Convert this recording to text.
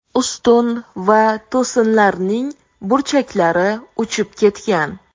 Ustun va to‘sinlarning burchaklari uchib ketgan.